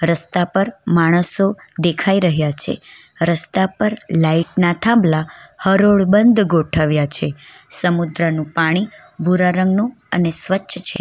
રસ્તા પર માણસો દેખાઈ રહ્યા છે રસ્તા પર લાઈટ ના થાંભલા હરોળ બંધ ગોઠવવા છે સમુદ્રનું પાણી ભૂરા રંગનું અને સ્વચ્છ છે.